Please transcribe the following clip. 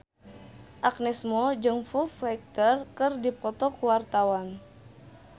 Agnes Mo jeung Foo Fighter keur dipoto ku wartawan